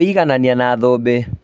Kũiganania na thũmbĩ